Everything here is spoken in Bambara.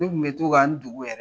Ne kun to k'an n dogo yɛrɛ